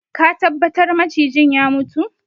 Are you sure the snake is dead